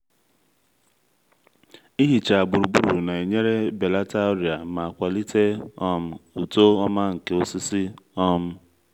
ịhicha gburugburu na-enyere belata ọrịa ma kwalite um uto ọma nke osisi um